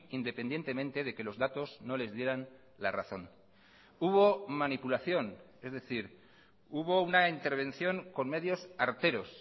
independientemente de que los datos no les dieran la razón hubo manipulación es decir hubo una intervención con medios arteros